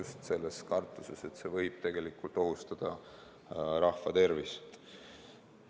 Seda just kartuses, et see võib ohustada rahva tervist.